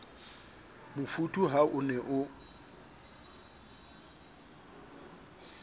mofuthu ha o ne o